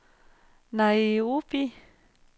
Nairobi